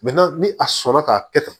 ni a sɔnna k'a kɛ tan